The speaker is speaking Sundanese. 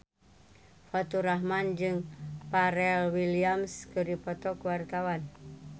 Faturrahman jeung Pharrell Williams keur dipoto ku wartawan